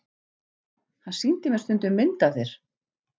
Hann sýndi mér stundum mynd af þér.